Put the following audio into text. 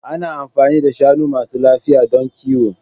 Ana amfani da shanu masu lafiya don kiwo.